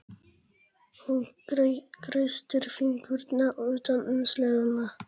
Hún kreistir fingurna utan um seðlana.